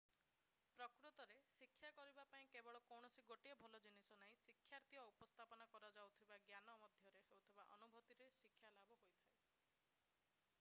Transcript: ପ୍ରକୃତରେ ଶିକ୍ଷା କରିବା ପାଇଁ କେବଳ କୌଣସି ଗୋଟିଏ ଭଲ ଜିନିଷ ନାହିଁ ଶିକ୍ଷାର୍ଥୀ ଓ ଉପସ୍ଥାପନ କରାଯାଉଥିବା ଜ୍ଞାନ ମଧ୍ୟରେ ହେଉଥିବା ଅନୁଭୂତିରେ ଶିକ୍ଷାଲାଭ ହୋଇଥାଏ